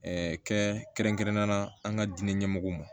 kɛ kɛrɛnkɛrɛnnen na an ka diinɛ ɲɛmɔgɔw ma